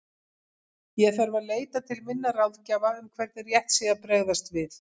Ég þarf að leita til minna ráðgjafa um hvernig rétt sé að bregðast við.